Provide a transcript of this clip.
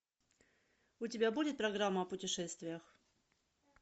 у тебя будет программа о путешествиях